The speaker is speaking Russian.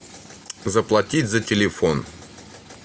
заплатить за телефон